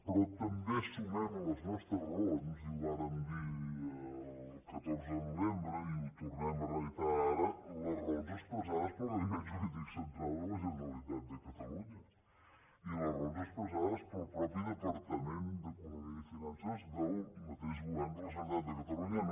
però també sumem a les nostres raons i ho vàrem dir el catorze de novembre i ho tornem a reiterar ara les raons expressades pel gabinet jurídic central de la genera·litat de catalunya i les raons expressades pel mateix departament d’economia i finances del mateix go·vern de la generalitat de catalunya